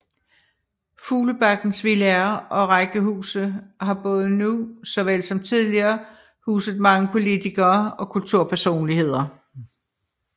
Fuglebakkens villaer og rækkehuse har både nu såvel som tidligere huset mange politikere og kulturpersonligheder